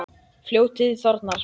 Fljótið þornar.